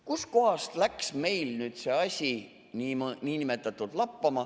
Kust kohast läks meil nüüd see asi lappama?